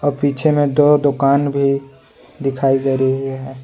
और पीछे में दो दोकान भी दिखाई दे रही है।